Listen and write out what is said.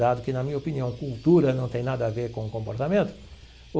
Dado que, na minha opinião, cultura não tem nada a ver com comportamento.